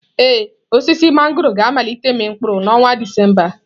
Ee, osisi mangọrọ ga-amalite ịmị mkpụrụ n'ọnwa Disemba a.